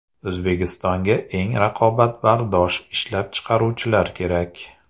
O‘zbekistonga eng raqobatbardosh ishlab chiqaruvchilar kerak.